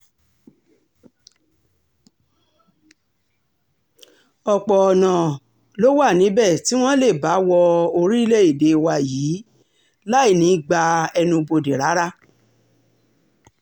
ọ̀pọ̀ ọ̀nà um ló wà níbẹ̀ tí wọ́n lè bá wo orílẹ̀-èdè wa yìí um láì ní í gba ẹnubodè rárá